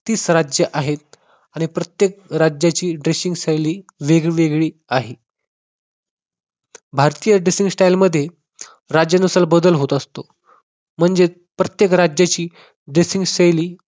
तीस राज्ये आहेत. आणि प्रत्येक राज्याची dressing शैली वेगवेगळी आहे. भारतीय dressing style मध्ये राज्यानुसार बदल होत असतो म्हणजेच प्रत्येक राज्याची dressing शैली